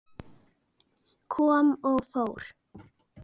Kom og fór.